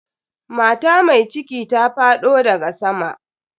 Mata mai cikin ta faɗo daga sama.